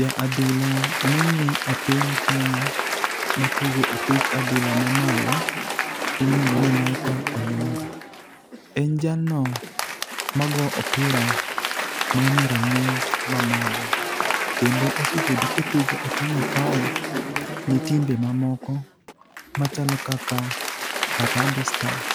Ja adhula mong'e e piny Kenya matugo opich adhula mamalo iluongo ni Michael Olunga. En jalno mago opira manie rang'iny mamalo, kendo osebedo kotugo e Kenya kae ni timbe mamoko machalo kaka Harambee Stars,